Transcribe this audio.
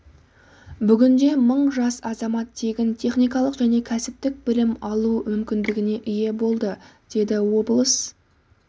бүгінде мың жас азамат тегін техникалық және кәсіптік білім алу мүмкіндігіне ие болды деді облыс